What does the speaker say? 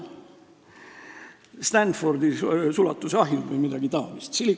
Et Stanfordi lähedal on sulatusahjud või midagi taolist?